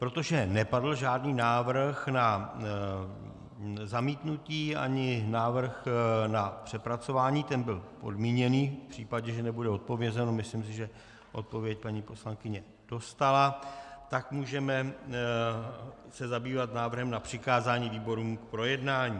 Protože nepadl žádný návrh na zamítnutí ani návrh na přepracování, ten byl podmíněný v případě, že nebude odpovězeno, myslím si, že odpověď paní poslankyně dostala, tak se můžeme zabývat návrhem na přikázání výborům k projednání.